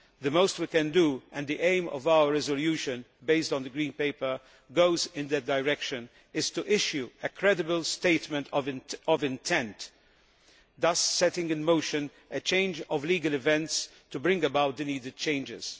The most we can do and the aim of our resolution based on the Green Paper goes in that direction is to issue a credible statement of intent, thus setting in motion a change of legal events to bring about the needed changes.